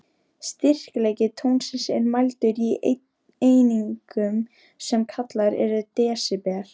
Styrkleiki tónsins er mældur í einingum, sem kallaðar eru desibel.